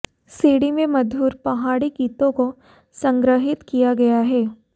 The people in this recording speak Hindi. सीडी में मधुर पहाड़ी गीतों को संग्रहित किया गया है